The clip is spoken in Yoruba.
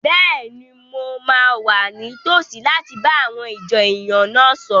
Bẹ́ẹ̀ni, mo máa wà ní tòsí láti bá àwọn ìjọ èèyàn náà sọ̀rọ̀